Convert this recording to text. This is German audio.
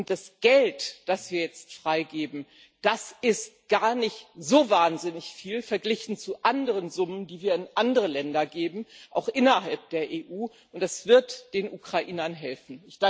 Das Geld, das wir jetzt freigeben, ist gar nicht so wahnsinnig viel verglichen mit anderen Summen, die wir an andere Länder geben, auch innerhalb der EU, und das wird den Ukrainern helfen.